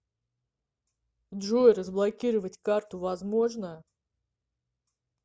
джой разблокировать карту возможно